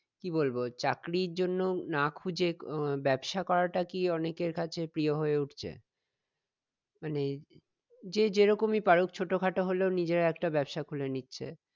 কি বলবো চাকরির জন্য না খুঁজে আহ ব্যাবসা করা টা কি অনেকের কাছে প্রিয় হয়ে উঠছে? মানে যে যেরকমি পারুক ছোট খাটো হলেও নিজের একটা ব্যাবসা খুলে নিচ্ছে